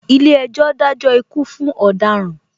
Ilé ejò dajo ikú fún ọ̀daràn